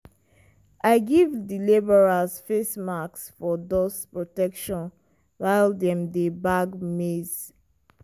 i give di labourers face masks for dust protection while dem dey bag maize.